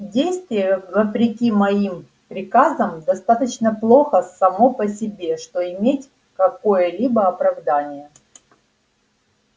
действие вопреки моим приказам достаточно плохо само по себе что иметь какое-либо оправдание